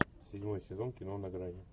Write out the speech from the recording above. седьмой сезон кино на грани